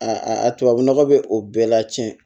A a tubabunɔgɔ bɛ o bɛɛ la tiɲɛ